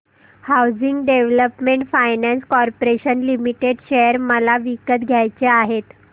housing development finance corporation limited share मला विकत घ्यायचे आहेत